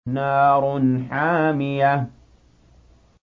نَارٌ حَامِيَةٌ